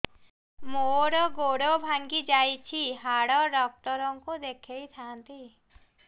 ମୋର ଗୋଡ ଭାଙ୍ଗି ଯାଇଛି ହାଡ ଡକ୍ଟର ଙ୍କୁ ଦେଖେଇ ଥାନ୍ତି